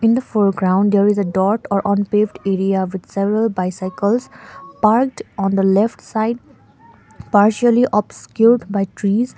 in the foreground there is a dot or unpaved area with several bicycles parked on the left side partially obscured by trees.